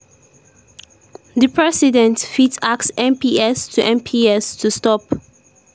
“di president fit ask mps to mps to stop.